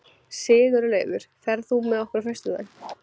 Sigurlaugur, ferð þú með okkur á föstudaginn?